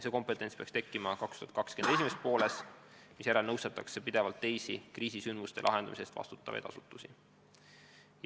See kompetents peaks tekkima 2020. aasta esimeses pooles, misjärel nõustatakse pidevalt teisi kriisisündmuste lahendamise eest vastutavaid asutusi.